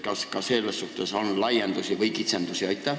Kas selle kohta seadus ütleb midagi?